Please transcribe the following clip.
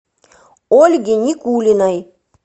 ольге никулиной